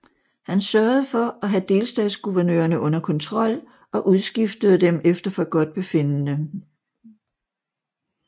Han sørgede for at have delstatsguvernørerne under kontrol og udskiftede dem efter forgodtbefindende